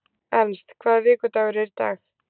Ernst, hvaða vikudagur er í dag?